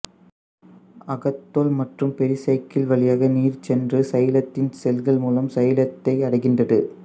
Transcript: அகத்தோல் மற்றும் பெரிசைக்கிள் வழியாக நீர் சென்று சைலத்தின் செல்கள் மூலம் சைலத்தை அடைகின்றது